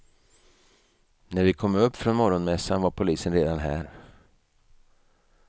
När vi kom upp från morgonmässan var polisen redan här.